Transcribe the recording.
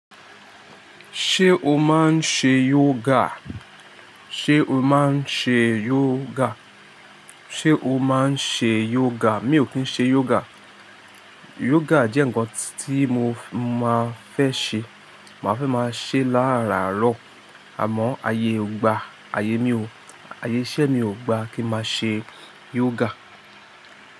Ṣé o máa ń ṣe yoga? Ṣé o máa ń ṣe yoga? Ṣé o máa ń ṣe yoga? Mi ò kí ń ṣe yoga. Yoga jẹ́ nǹkan tí mo máa fẹ́ ṣe. Màá fẹ́ máa ṣe láàraaro. Àmọ́ ayé ò gba. Ayé mi ò, ayé iṣẹ́ mi ò gba kí máa ṣe yoga.